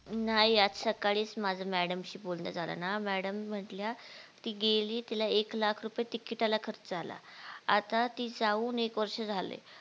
नाही आज सकाळीच माझे Madam शी बोलणं झालं ना Madam म्हटल्या ती गेली तिला एक लाख रुपये TICKET ला खर्च आला आता ती जाऊन एक वर्ष झालंय